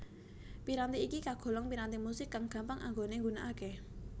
Piranti iki kagolong piranti musik kang gampang anggone nggunakake